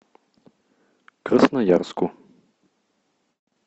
красноярску